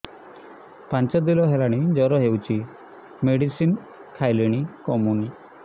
ପାଞ୍ଚ ଦିନ ହେଲାଣି ଜର ହଉଚି ମେଡିସିନ ଖାଇଲିଣି କମୁନି